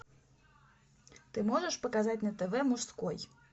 ты можешь показать на тв мужской